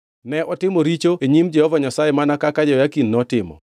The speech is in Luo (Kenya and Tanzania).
Ne otimo richo e nyim Jehova Nyasaye mana kaka Jehoyakim notimo.